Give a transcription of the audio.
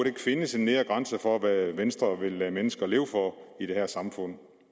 ikke findes en nedre grænse for hvad venstre vil lade mennesker leve for i det her samfund